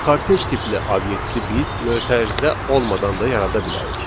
Kortej tipli obyekti biz mötərizə olmadan da yarada bilərik.